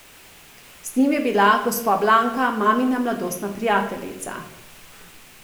Z njim je bila gospa Blanka, mamina mladostna prijateljica.